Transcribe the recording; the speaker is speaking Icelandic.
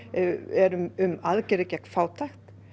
eru um aðgerðir gegn fátækt